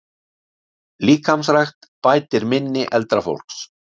Líkamsrækt bætir minni eldra fólks